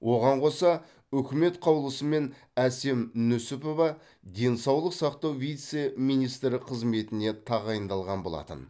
оған қоса үкімет қаулысымен әсем нүсіпова денсаулық сақтау вице министрі қызметіне тағайындалған болатын